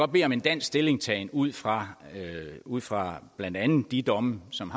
bede om en dansk stillingtagen ud fra ud fra blandt andet de domme som